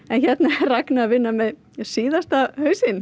hérna er Ragna að vinna með síðasta hausinn